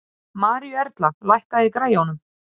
Maríuerla, lækkaðu í græjunum.